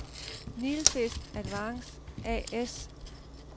Nilfisk-Advance A/S